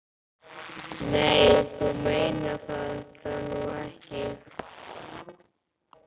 Nei, þú meinar þetta nú ekki.